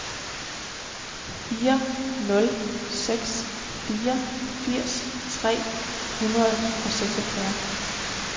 fire nul seks fire firs tre hundrede og seksogfyrre